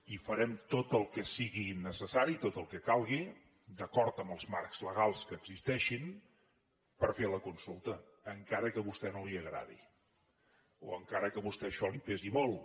i farem tot el que sigui necessari i tot el que calgui d’acord amb els marcs legals que existeixin per fer la consulta encara que a vostè no li agradi o encara que a vostè això li pesi molt